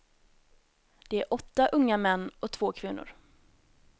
Det är åtta unga män och två kvinnor.